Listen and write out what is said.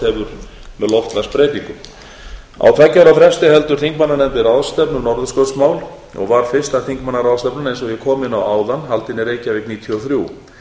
hafa með loftslagsbreytingum á tveggja ára fresti heldur þingmannanefndin ráðstefnu um norðurskautsmál og var fyrsta þingmannaráðstefnan eins og ég kom inn á áðan haldin í reykjavík árið nítján hundruð níutíu og þrjú